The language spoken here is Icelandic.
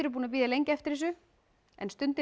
búin að bíða lengi eftir þessu en stundin